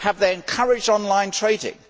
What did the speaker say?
Have they encouraged online trading?